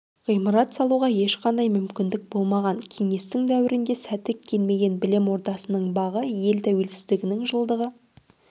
ғимарат салуға ешқандай мүмкіндік болмаған кеңестік дәуірде сәті келмеген білім ордасының бағы ел тәуелсіздігінің жылдығы